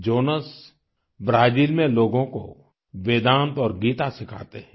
Jonas Brazil में लोगों को वेदांत और गीता सिखाते हैं